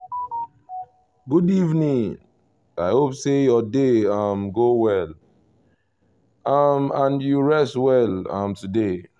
good evening! i hope say your day um go well um and you rest small um today